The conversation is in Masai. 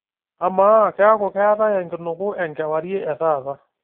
amaa keeku keetae enkinuku enkewarie etaata